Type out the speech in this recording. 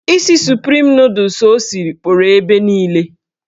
Isi suprim nọdụs o siri kpọrọ ebe niile.